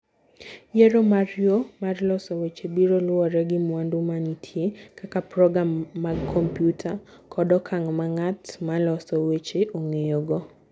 Yiero mar yo mar loso weche biro luwore gi mwandu ma nitie (kaka program mag kompyuta) kod okang ' ma ng'at ma loso weche ong'eyogo.